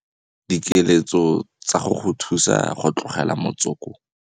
Dikeletso tsa go go thusa go tlogela motsoko.